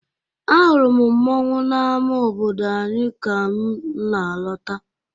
Ahụrụ m mmọnwụ n'ama obodo anyị ka m na-alọta.